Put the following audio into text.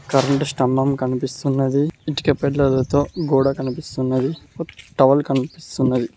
Current స్తంభం కనిపిస్తున్నది ఇటిక పెల్లలతో గోడ కనిపిస్తున్నది టవల్ కనిపిస్తున్నది.